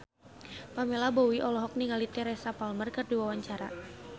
Pamela Bowie olohok ningali Teresa Palmer keur diwawancara